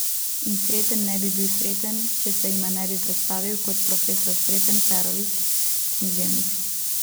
In Sreten ne bi bil Sreten, če se jima ne bi predstavil kot profesor Sreten Perović, književnik.